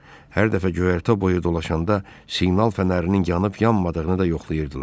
Hər dəfə göyərtə boyu dolaşanda siqnal fənərinin yanıb yanmadığını da yoxlayırdılar.